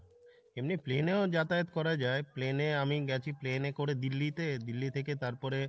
এমনি plain এও যাতায়াত করা যাই plain এ আমি গেছি plain এ করে দিল্লিতে, দিল্লি থেকে তারপরে